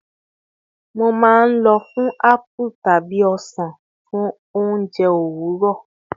Mo maa n lọ fun apple tabi osan osan fun ounjẹ owurọ